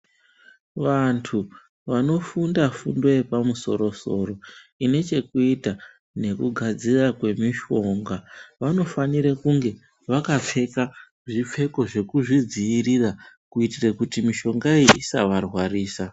Vanthu vanofunda fundo yepamusoro soro ine chekuita nekugadzira kwemishonga vanofanira kunge vakapfeka zvipfeko zvekuzvidziirira kuitira kuti mishonga iyi isavarwarisa.